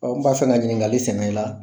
n kun b'a fɛ ka ɲiniŋali sɛmɛ i la.